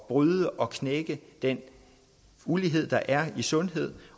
bryde og knække den ulighed der er i sundhed